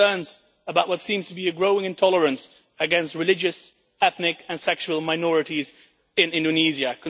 Concerns about what seems to be a growing intolerance against religious, ethnic and sexual minorities in Indonesia